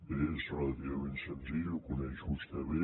bé és relativament senzill ho coneix vostè bé